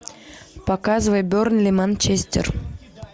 показывай бернли манчестер